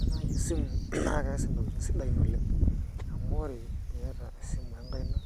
Ore nai esimu naa kees intokiting sidain oleng. Amu ore iyata esimu enkaina,